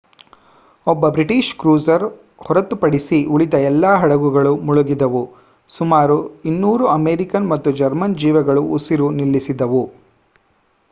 ಒಬ್ಬ British cruiser ಹೊರತುಪಡಿಸಿ ಉಳಿದ ಎಲ್ಲಾ ಹಡಗುಗಳು ಮುಳುಗಿದವು ಸುಮಾರು 200 ಅಮೆರಿಕನ್ ಮತ್ತು ಜರ್ಮನ್ ಜೀವಗಳು ಉಸಿರು ನಿಲ್ಲಿಸಿದವು